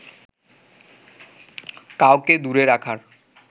কাউকে দূরে রাখার